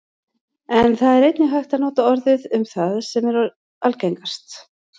en það er einnig hægt að nota orðið um það sem er algengast